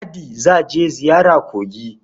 Ladi za je ziyara kogi.